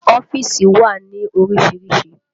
Ọ́fíìsì wà ní orísìírísìí